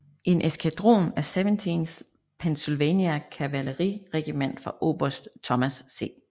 En eskadron af 17th Pennsylvania kavaleriregiment fra oberst Thomas C